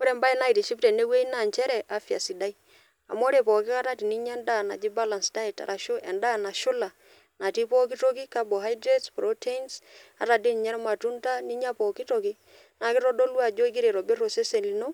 Ore entoki naitiship teenweji naa inchere afya sidai, amu ore pooki kata teninya endaa naji balance diet arashu endaa nashula natii pooki toki carbohydates, proteins, ata dei ninye ilmatunda ninya pooki toki, naa keitodolu ajo igira aitobirr osesen lino